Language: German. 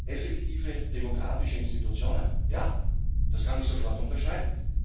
Effektive demokratische Institutionen ja, das kann ich sofort unterschreiben.